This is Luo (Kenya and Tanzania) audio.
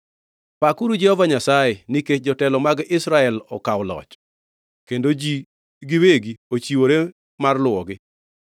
“Pakuru Jehova Nyasaye nikech jotelo mag Israel okawo loch, kendo ji giwegi ochiwore mar luwogi!